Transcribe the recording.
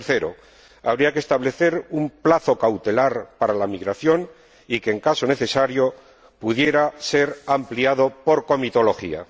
Tercero, habría que establecer un plazo cautelar para la migración, que, en caso necesario, pudiera ser ampliado por comitología.